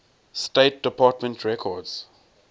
state department records